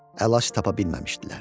Əlac tapa bilməmişdilər.